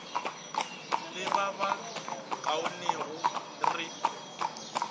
le ba ba kaonego re